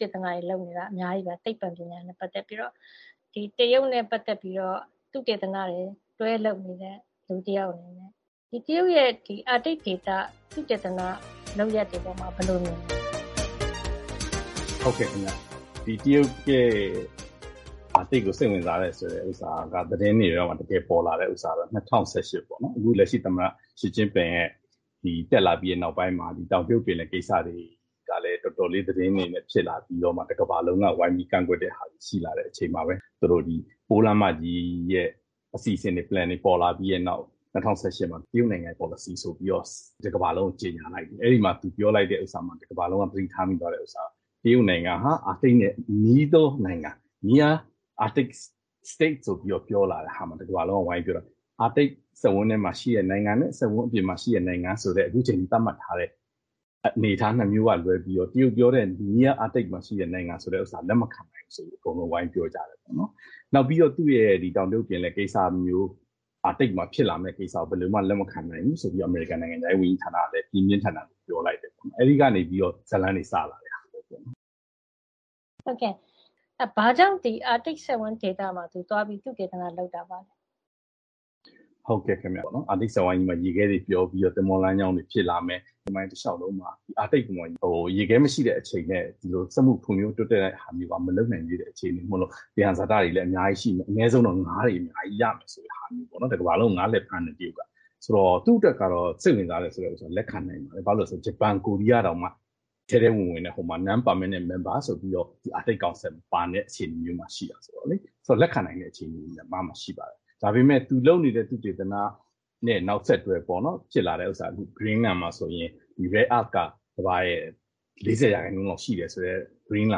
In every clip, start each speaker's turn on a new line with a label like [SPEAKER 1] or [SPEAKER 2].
[SPEAKER 1] တေသနလုပ်နေတာ အများကြီး ရှိပါတယ်။ အခုလို အာတိတ်စက်ဝန်းဒေသမှာ တရုတ်ရဲ့သုတေသနလုပ်နေတာ တွေနဲ့ ပတ်သက်ပြီးတော့ လက်တွေ့ တရုတ်နဲ့ သုတေသနတွေတွဲလုပ်နေသူတယောက် အနေနဲ့ တရုတ်ရဲ့ အာတိတ်ဒေသက သုတေသနလုပ်ရပ်တွေအပေါ် ဘယ်လို မြင်ပါသလဲ
[SPEAKER 2] ။ ဖြေ။ ။ တရုတ်ရဲ့ အာတိတ်ဒေသကိုစိတ်ဝင်စားတယ်ဆိုတာ သတင်းတွေမှာ တက်လာတာကတော့ ၂၀၁၈ ပေါ့နော်။ အခု လက်ရှိသမ္မတရှီကျင့်ပင် တက်လာပြီးတဲ့နောက်ပိုင်းမှာ တောင်တရုတ်ပင်လယ်ပြင်ကိစ္စကလည်း တော်တော်လေးကိုဖြစ်လာပြီးတော့ တကမ္ဘာလုံးက ကန့်ကွက်တဲ့အထိ ဖြစ်လာတဲ့အချိန်မှာပဲ သူတို့ ပိုးလမ်းမကြီးအတွက် အတိအကျ plan တွေ အစီစဉ်တွေပေါ်လာပြီးတဲ့နောက် ၂၀၁၈ ခုနှစ်မှာပေါ့နော်။ တကမ္ဘာလုံးကို ကြေညာလိုက်တယ်။ အဲဒီအချိန်မှာပဲ သူပြောလိုက်တဲ့ဥစ္စာ တကမ္ဘာလုံးက သတိထားမိသွားတာက တရုတ်နိုင်ငံဟာ အာတိတ်နဲ့အနီးဆုံးနိုင်ငံ Near Arctic State ဆိုပြီးတော့ ထွက်လာတဲ့ အခါ အားလုံးကဝိုင်းပြီးတော့ပြောတာက - အာတိတ်စက်ဝန်းထဲမှာရှိတဲ့နိုင်ငံနဲ့ အာတိတ်စက်ဝန်းအပြင်မှာရှိတဲ့နိုင်ငံဆိုပြီး အခုချိန်အထိ သတ်မှတ်ထားတဲ့အနေထား ၂ မျိုးက လွဲပြီးတော့ တရုတ်ပြောတဲ့ Near Arctic မှာရှိတဲ့နိုင်ငံဆိုပြီး လက်မခံနိုင်ဘူးဆို အကုန်လုံးက ဝိုင်းပြီး ပြောကြတယ်။ နောက်ပြီး သူ့ရဲ့ အာတိတ်ပင်လယ်နားရှိတဲ့နိုင်ငံဆိုပြီး လက်မခံနိုင်ဘူး-ဆိုပြီး အမေရိကန် နိုင်ငံခြားရေးဝန်ကြီးဌာနကလည်း ပြင်းပြင်းထန်ထန် ပြောလိုက်တယ် ခင်ဗျ။ အဲဒီကနေပြီးတော့ ဇာတ်လမ်းတွေ စလာတာပါ။ မေး။
[SPEAKER 1] ။ ဘာကြောင့် အာတိတ်စက်ဝန်းမှာ တရုတ်က သုတေသနလုပ်တာပါလဲ
[SPEAKER 2] ။ ဖြေ။ ။ ဟုတ်ကဲ့ခင်ဗျ။ အာတိတ်ဒေသမှာ ရေခဲတွေပျော်ပြီးတော့ သင်္ဘောလမ်းကြောင်း ကြီးတွေ ဖြစ်လာမယ်။ သမိုင်းလျှောက်လုံးကိုကြည့်ရင် အာတိတ်မှာ ရေခဲမရှိတဲ့အချိန်နဲ့ ဒီလို စက်မှုဖွံ့ဖြိုးတိုးတက်တဲ့ဟာမျိုးက မလုပ်နိုင်သေးတဲ့ အခြေနေမို့လို့ သယံဇာတတွေလည်း အများကြီးရှိနေမယ်။ အနည်းဆုံးတော့ ငါးတွေ အများကြီးရမယ်ဆိုတဲ့ဟာမျိုး တကမ္ဘာလုံးကို ငါးလည်ဖမ်းနေတဲ့ တရုတ်ကပေါ့နော်။ သူ့အတွက်တော့ အင်မတန် စိတ်ဝင်စားစရာပါ။ ဂျပန်၊ ကိုရီးယားလိုမျိုး နိုင်ငံတွေတောင် ထဲထဲဝင်ဝင်နဲ့ ဟိုမှာ non perminant member ဆိုပြီးတော့ အာတိတ်ကောင်စီမှာ ပါနေတဲ့အခြေနေမျိုးမှာရှိတယ်ဆိုတော့လေ။ သူက လက်ခံနိုင်တဲ့အခြေနေ ရှိပါတယ်။ ဒါပေမယ့် သူလုပ်နေတဲ့ သုတေသနနဲ့ နောက်ဆက်တွဲပေါ့နော်။ ဖြစ်လာတာက ဥပမာ မြေရှားသတ္တု rare-earth က ကမ္ဘာ့ရဲ့ ၄၀ % လောက်ရှိတဲ့ ဂရင်းလ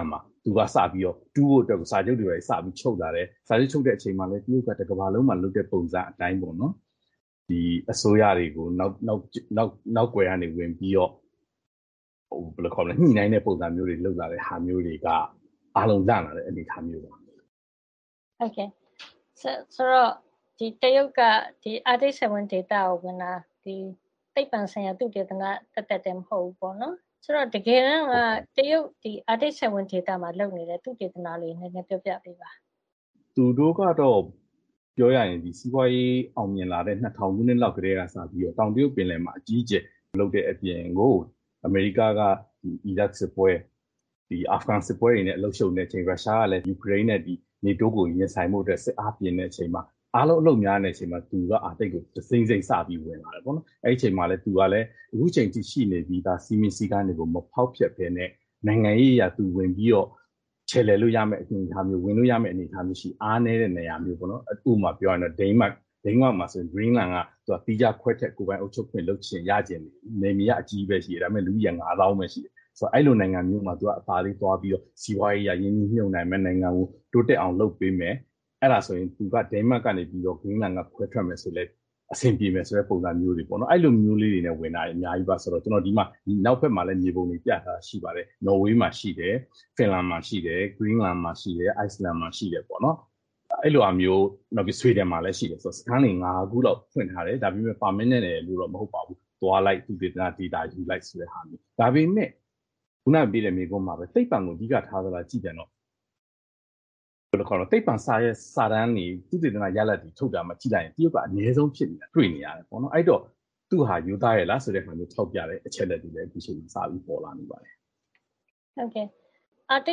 [SPEAKER 2] န်မှာ- သူက တူးဖို့ဆိုပြီး စာချုပ်တွေ ဘာတွေ ချုပ်လာတယ်။ စာချုပ် ချုပ်တဲ့အချိန်ကလည်း တရုတ်က တကမ္ဘာလုံးမှာ လုပ်တဲ့ပုံစံအတိုင်း - ဒီ အစိုးရတွေကို နောက်ကွယ်ကနေပြီးတော့ ညှိနှိုင်းတဲ့ပုံမျိုးတွေ လုပ်လာတာမျိုးတွေက အားလုံးလန့်လာတဲ့ အနေထားမျိုးတွေပါ။ မေး။
[SPEAKER 1] ။ ဆိုတော့ တရုတ်က ဒီအာတိတ်စက်ဝိုင်းကို ဝင်လာတာ ဒီသိပ္ပံဆိုင်ရာ သုတေသန သက်သက် မဟုတ်ဘူးပေါ့နော်။ ဆိုတော့ တကယ်တမ်း တရုတ်က အာတိတ်စက်ဝိုင်းမှာ ဘာသုတေသနတွေ လုပ်တာလဲ၊ နည်းနည်း ပြောပြပေးပါ။
[SPEAKER 2] ဖြေ။ ။ ပြောရရင် စီးပွါးရေးအောင်မြင်လာတဲ့ ၂၀၀၀ ခုနှစ်လောက်ကတည်းကစပြီးတော့ တောင်တရုတ်ပင်လယ်မှာ အကြီးအကျယ်လုပ်တဲ့အပြင်ကို အမေရိကန်က အီရတ်စစ်ပွဲ၊ အာဖဂန်စစ်ပွဲတွေနဲ့ အလုပ်ရှုပ်နေတဲ့အချိန်၊ ရုရှားကလည်း ယူကရိန်းနဲ့နေတိုးကို ရင်ဆိုင်ဖို့ အတွက် တအား ပြင်နေရတဲ့အချိန်မှာ၊ အားလုံး အလုပ်များနေတဲ့အချိန်မှာ သူက အာတိတ်ကို တစိမ့်စိမ့် စပြီး ဝင်လာတယ်ပေါ့နော်။ အဲဒီအချိန်မှာ သူဟာ အခုချိန်ထိရှိပြီးသား စည်းမျဉ်းစည်းကမ်းတွေကို မဖေါက်ဖျက်ဘဲနဲ့ နိုင်ငံရေးအရ သူချယ်လှယ်လို့ရမယ့်အနေထား၊ ဝင်လို့ရမယ့်အနေထားရှိတဲ့ အားနည်းတဲ့ နေရာမျိုးပေါ့နော်။ ဥပမာပြောရရင်တော့ ဒိန်းမတ်ပေါ့နော်။ ဒိန်းမတ်မှာဆို ဂရင်းလန်းက သူက သီးခြားခွဲထွက် ကိုယ်ပိုင်အုပ်ချုပ်ခွင့်လုပ်ချင်တာ ရချင်တာ၊ သူက နယ်မြေကြီးက အကြီးကြီးပဲ။ လူကတော့ ၅ သောင်း လောက်ပဲ ရှိတယ်။ ဆိုတော့ အဲဒီလို နိုင်ငံမျိုးမှာ သူက အသာလေးသွားပြီးတော့ စီးပွါးရေးအရ ရင်းနှီးမြှုပ်နှံမယ်။ နိုင်ငံကို တိုးတက်အောင် လုပ်ပေးမယ်။ အဲဒါဆိုရင် သူက ဒိန်းမတ်ကနေ ဂရင်းလန်းက ခွဲထွက်မယ်ဆိုရင်လည်း အဆင်ပြေမယ်ဆိုတာမျိုးတွေ ပေါ့နော်။ သူက အဲဒီလိုမျိုးကလေးတွေနဲ့ဝင်တာတွေ အများကြီးပါ။ ဆိုတော့သူက အနောက်ဘက်မှာ ပြထားတဲ့မြေပုံတွေအတိုင်းပါပဲ။ သူ့ဟာက နော်ဝေးမှာ ရှိတယ်။ ဖင်လန်မှာ ရှိတယ်။ အဲဒီ ဂရင်းလန်းမှာ ရှိတယ်။ အိုက်စလန်မှာ ရှိတယ်။ နောက် ဆွီဒင်မှာလည်း ရှိတယ်။ သူက အဲဒီလိုမျိုး စခန်းတွေ ၅ ခု လောက် ဖွင့်ထားတယ်။ ဒါပေမယ့်လည်း permanent အမြဲချထားတာရယ်လို့တော့ မဟုတ်ပါဘူး။ သူက သွားလိုက်၊ သုတေသနယူလိုက် ဆိုတဲ့ဟာမျိုးပါ။ ဒါပေမယ့် ခုနမေးတဲ့ မေးခွန်းလိုမျိုး သိပ္ပံ သုတေသနအတွက် အဓိကထားလား ဆိုတာ ကြည့်ပြန်တော့ သူက သိပ္ပံစာရွက်စာတမ်းတွေ၊ သုတေသနရလဒ်တွေမှာ ကြည့်လိုက်ရင် သူ့ဥစ္စာက အနည်းဆုံးဖြစ်နေတယ်ဆိုတာ တွေ့နေရတယ်ပေါ့နော်။ အဲဒီတော့ သူ့ဟာက ရိုးသားရဲ့လားဆိုတာကို ထောက်ပြတဲ့အချက်လက်တွေလည်း အခုချိန်မှာ ထွက်လာနေပါတယ်
[SPEAKER 1] ။ မေး။ ။ ဒီအာတိ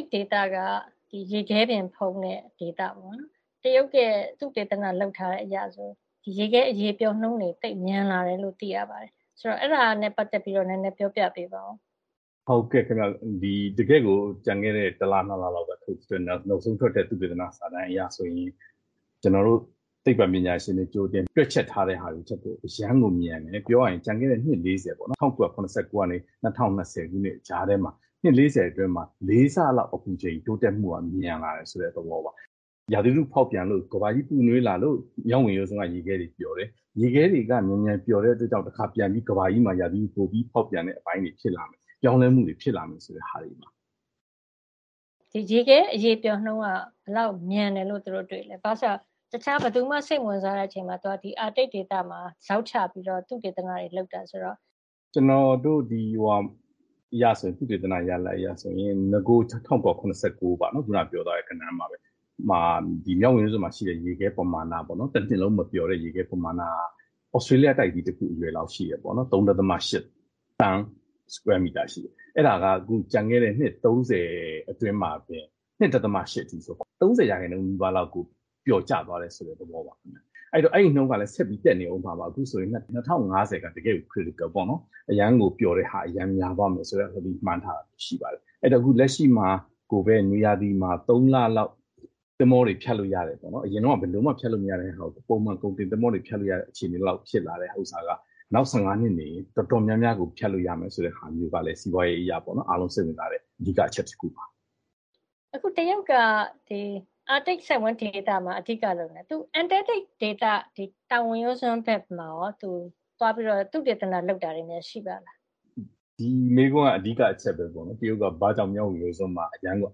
[SPEAKER 1] တ်ဒေသက ရေခဲပြင်ဖုံးတဲ့ ဒေသပေါ့နော်။ အခုလက်ရှိ တရုတ်ရဲ့ သုတေသနအရဆိုရင် ရေခဲအရည်ပျော်နှုန်းတွေ သိပ်ပြီး မြန်လာတယ်လို့် သိရပါတယ်။ အဲဒါနဲ့ပတ်သက်ပြီး ပြောပြပေးပါ။
[SPEAKER 2] ဖြေ။ ။ ကျန်ခဲ့တဲ့ တလ ၂ လ လောက်က နောက်ဆုံးထွက်တဲ့ သုတေသနစာတမ်းအရ ဆိုရင် ကျနော်တို့ သိပ္ပံပညာရှင်တွေ ကြိုတင်တွက်ချက်ထားတဲ့ဟာတွေထက်ကို အရမ်းကို မြန်တယ်။ လွန်ခဲ့တဲ့အနှစ် ၄၀ ပေါ့နော်။ ၁၉၇၉ ကနေ ၂၀၂၀ အထိ ကြားထဲမှာ အနှစ် ၄၀ အတွင်းမှာ ၄ ဆ လောက် အပူချိန်တိုးမှုက မြန်လာတယ် ဆိုတဲ့ သဘောပါ။ ရာသီဥတု ဖေါက်ပြန်လို့၊ ကမ္ဘာကြီးပူနွေးလာလို့ မြောက်ဝင်ရိုးစွန်းက ရေခဲတွေအရည်ပျော်တယ်။ ရေခဲတွေက မြန်မြန်ပျော်တဲ့အတွက်ကြောင့်မို့ တခါပြန်ပြီး ကမ္ဘာကြီးမှာ ပိုပြီး ဖေါက်ပြန်တဲ့အပိုင်းတွေ ဖြစ်လာမယ်။ ပြောင်းလဲမှုတွေ ဖြစ်လာမယ် ဆိုတဲ့ ဟာတွေပါ။ မေး
[SPEAKER 1] ။ ။ ဒီရေခဲ အရည်ပျော်နှုန်း ကဘယ်လောက် မြန်တယ်လို့ သူတို့ တွေ့ပါသလဲ။ ဘာကြောင့်လဲဆိုတော့ တခြား ဘယ်သူမှ စိတ်မဝင်စားတဲ့အချိန်မှာ သူက ဒီအာတိတ်ဒေသမှာ ဇောက်ချပြီးတော့ သုတေသနတွေလုပ်တာဆိုတော့
[SPEAKER 2] ။ ဖြေ။ ။ ကျနော်တို့ ဒီ သုတေသနရလဒ်အရဆို နဂို ၁၉၇၉ ပေါ့နော်၊ ဒီ မြောက်ဝင်ရိုးစွန်းမှာ ရှိတဲ့ ရေခဲပမာဏပေါ့နော်။ ဒီတနှစ်လုံး မပျော်တဲ့ရေခဲပမာဏ၊ သြစတြေးလျတိုက်ကြီးတခု အရွယ်အစားလောက် ရှိတယ်ပေါ့နော်။ စတုရန်းမီတာ ၃.၈ သန်း ရှိတယ်။ အဲဒါက အခု လွန်ခဲ့တဲ့ အနှစ် ၃၀ အတွင်းမှာဆိုရင် ၂. ၈ အထိ ဖြစ်သွားတယ်။ ၃၀ % နီးပါး လောက်ကို ပျော်ကျသွားတယ်ဆိုတဲ့ သဘောပါ။ အဲဒီနှုန်းကလည်း ဆက်ပြီးတက်နေအုံးမှာပါ။ အခုဆို ၂၀၅၀ က တကယ့်ကို critical အန္တရာယ်ရှိတယ်ပေါ့နော်။ အရမ်းကို အရည်ပျော်တာ အရမ်းများသွားမယ်ဆိုပြီး မှန်းထားတာ ရှိပါတယ်။ ဆိုတော့ လက်ရှိမှာကိုပဲ နွေမှာ ၃ လ လောက် သင်္ဘောတွေ ဖြတ်လို့ရတယ်။ အရင်က ဘယ်လိုမှ ဖြတ်လို့ မရတဲ့၊ ကုန်တင်သင်္ဘောတွေ ဖြတ်လို့မရတဲ့အခြေနေက နောက် ၁၅ နှစ်လောက်နေရင် တော်တော်များများကို ဖြတ်လို့ရမယ်ဆိုတဲ့ အခြေနေမျိုးကလည်း စီးပွါးရေးအရပေါ့နော်။ အကုန်လုံးက စိတ်ဝင်စားတဲ့ အဓိက အချက်တခုပါ။ မ
[SPEAKER 1] ေး။ ။ အခု တရုတ်က အာတိတ်စက်ဝန်းဒေသမှာ အဓိကလုပ်လာတာ၊ သူ အန္တာတိက ဒေသ တောင်ဝင်ရိုးစွန်းဘက်မှာရော၊ သူသွားပြီးတော့ သုတေသနလုပ်တာတွေများ ရှိပါသလား
[SPEAKER 2] ။ ဖြေ။ ။ ဒီမေးခွန်းက အဓိက အချက်ပဲပေါ့နော်။ တရုတ်က သူဘာကြောင့် မြောက်ဝင်ရိုးစွန်းမှာ အရမ်းကို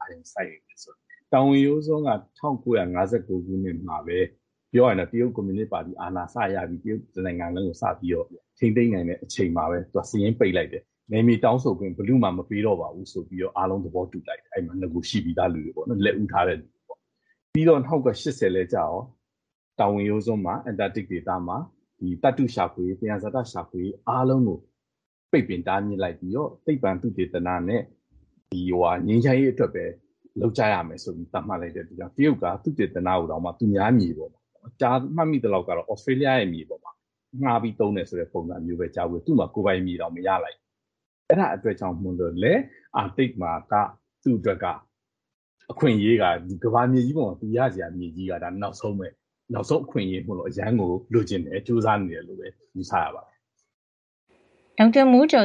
[SPEAKER 2] အာရုံစိုက်နေတယ်ဆိုတာပါ။ တောင်ဝင်ရိုးစွန်းက ၁၉၅၉ ခုနှစ်မှာပဲ ပြောရရင် တရုတ်ကွန်မြူနစ်ပါတီ အာဏာစရပြီး တရုတ်တနိုင်ငံလုံးကို စပြီးတော့ ထိန်းသိမ်းနိုင်တဲ့အချိန်မှာပဲ သူက စာရင်းပိတ်လိုက်တယ်။ နယ်မြေတောင်းခံခွင့် ဘယ်သူ့ကိုမှ မပေးတော့ပါဘူး ဆိုပြီးတော့ အားလုံး သဘောတူလိုက်ကြတယ်။ အဲဒီမှာ ရှိပြီးသားလူတွေက ပေါ့နော်။ လက်ဦးထားတဲ့သူတွေက။ ၁၉၈၀ လည်းကျရော တောင်ဝင်ရိုးစွန်းမှာ အန္တာတိတ်ဒေသမှာ ဒီ သတ္တုရှာဖွေရေး၊ သယံဇာတရှာဖွေရေးတွေ အားလုံးကို ပိတ်ပင်တားမြစ်လိုက်ပြီးတော့ သိပ္ပံသုတေသနနဲ့ ငြိမ်းချမ်းရေးအတွက်ပဲ လုပ်ကြရမယ်ဆိုပြီး သတ်မှတ်လိုက်တဲ့အတွက်ကြောင့် တရုတ်က သုတေသနကိုတောင်မှ သူများမြေ၊ မှတ်မိသလောက်ကတော့ Australia ရဲ့ မြေပေါ်မှာ ငှါးပြီး သုံးတယ်ဆိုတဲ့ ပုံစံမျိုးပဲ ကြားဖူးပါတယ်။ သူ့မှာ ကိုယ်ပိုင်မြေတောင် မရလိုက်ဘူး။ အဲဒါအတွက်ကြောင့်မို့လို့လည်း အာတိတ်မှာက သူ့အတွက် အခွင့်အရေးက ကမ္ဘာမြေကြီးမှာဆို သူရစရာ မြေကြီးက ဒါနောက်ဆုံးပဲ။ နောက်ဆုံး အခွင့်ရေးမို့လို့ အရမ်းကို လိုချင်တယ်။ ကြိုးစားနေတယ်လို့ပဲ ယူဆရပါတယ်
[SPEAKER 1] ။ ဒေါက်တာမိုးကျော်သူ